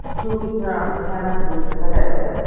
जो कितना भयानक रूप से सजा हो गया है।